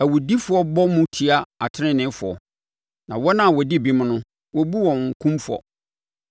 Awudifoɔ bɔ mu tia ateneneefoɔ na wɔn a wɔdi bem no, wɔbu wɔn kumfɔ.